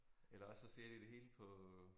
Eller også så ser de det hele på